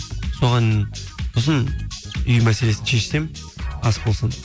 соған сосын үй мәселесін шешсем ас болсын